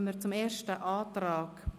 Somit kommen wir zum ersten Antrag.